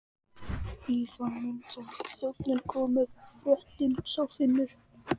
Í þann mund sem þjónninn kom með forréttinn sá Finnur